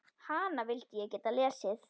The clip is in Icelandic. Hana vildi ég geta lesið.